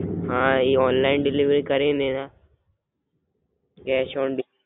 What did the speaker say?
હાં એ online delivery કરીંને કેસ ઓન ડી